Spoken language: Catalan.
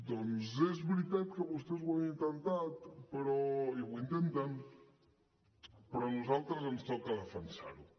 doncs és veritat que vostès ho han intentat i ho intenten però a nosaltres ens toca defensar ho